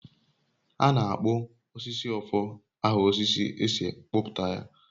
A na-akpọ osisi ofo aha osisi e si kpụpụta ya.